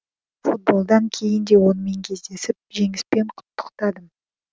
футболдан кейін де онымен кездесіп жеңіспен құттықтадым